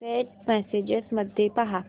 Saint messages मध्ये पहा